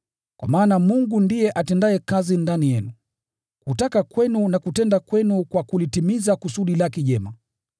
kwa maana Mungu ndiye atendaye kazi ndani yenu, kutaka kwenu na kutenda kwenu kwa kulitimiza kusudi lake jema.